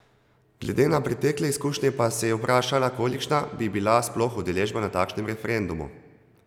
Glede na pretekle izkušnje pa se je vprašala, kolikšna bi bila sploh udeležba na takšnem referendumu.